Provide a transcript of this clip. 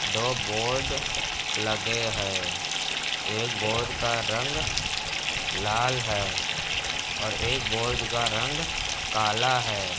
दो बोर्ड लगे हैं। एक बोर्ड का रंग लाल है और एक बोर्ड का रंग काला है।